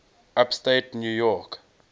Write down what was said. upstate new york